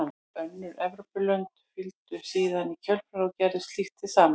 Önnur Evrópulönd fylgdu síðan í kjölfarið og gerðu slíkt hið sama.